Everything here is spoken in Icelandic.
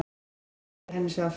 Það hefur verið henni sárt.